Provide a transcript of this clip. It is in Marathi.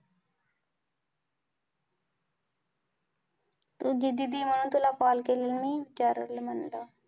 तुझी दीदी आहे म्हणून तुला call केलेला मी, विचारूया म्हणलं.